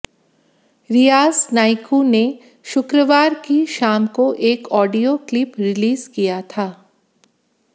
रियाज नाइकू ने शुक्रवार की शाम को एक ऑडियो क्लिप रिलीज किया था